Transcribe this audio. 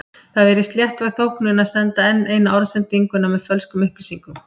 Það virðist léttvæg þóknun að senda enn eina orðsendinguna með fölskum upplýsingum.